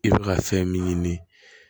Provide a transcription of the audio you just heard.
I bɛ ka fɛn min ɲini